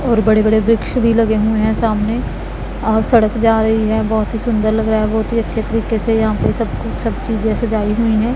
और बड़े बड़े वृक्ष भी लगे हुए हैं सामने और सड़क जा रही है बहोत ही सुंदर लग रहा है बहोत ही अच्छे तरीके से यहां पर सब सब चीजे सजाई हुए है।